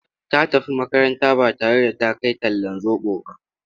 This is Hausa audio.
Ta tafi makaranta ba tare da ta kai talllan zoɓo ba.